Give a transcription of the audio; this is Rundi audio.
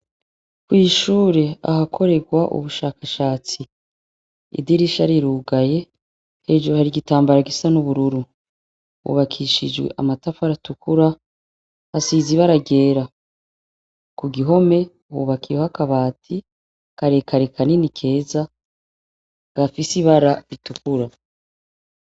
Kw'ishure ahakorerwa ubushakashatsi idirisha rirugaye, hejuru hari igitambara gisa n'ubururu ,hubakishijwe amatafari atukura asize ibara ryera, kugihome hubakiweho akabati kare kare kanini keza gafise ibara ritukura.